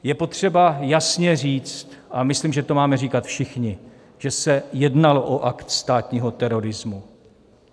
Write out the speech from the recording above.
Je potřeba jasně říct, a myslím, že to máme říkat všichni, že se jednalo o akt státního terorismu.